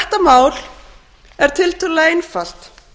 mál er tiltölulega einfalt